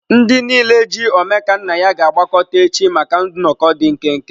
Ndị niile ji Omekannaya ga-agbakọta echi maka nnọkọ dị nkenke.